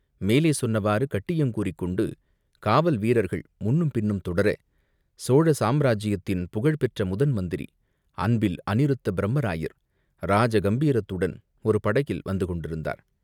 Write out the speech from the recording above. மேலே சொன்னவாறு கட்டியங் கூறிக்கொண்டு காவல் வீரர்கள் முன்னும் பின்னும் தொடர, சோழ சாம்ராஜ்யத்தின் புகழ் பெற்ற முதன் மந்திரி அன்பில் அநிருத்தப் பிரமராயர் ராஜ கம்பீரத்துடன் ஒரு படகில் வந்து கொண்டிருந்தார்.